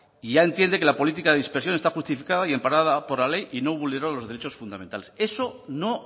y ya entiende que la política de dispersión está justificada y amparada por la ley y no vulneró los derechos fundamentales eso no